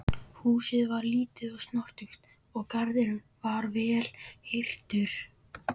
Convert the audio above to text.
Húsið var lítið og snoturt og garðurinn vel hirtur.